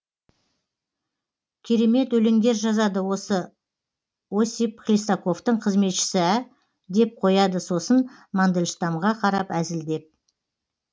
керемет өлеңдер жазады осы осип хлестаковтың қызметшісі ә деп қояды сосын мандельштамға қарап әзілдеп